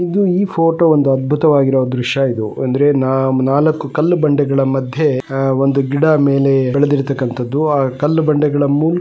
ಇದು ಈ ಫೋಟೋ ಒಂದು ಅದ್ಭುತವಾಗಿರು ದೃಶ್ಯ ಇದು ಅಂದ್ರೆ ನಾಲಕ್ಕು ಕಲ್ಲು ಬಂಡೆಗಳ ಮದ್ಯೆ ಒಂದು ಗಿಡ ಮೇಲೆ ಬೆಳೆದಿರ್ಥಕಂಥದ್ದು ಕಲ್ಲು ಬಂಡೆಗಳನ್ನು --